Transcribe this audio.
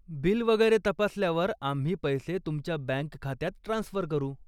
Bill वगैरे तपासल्यावर आम्ही पैसे तुमच्या बँक खात्यात ट्रान्स्फर करू.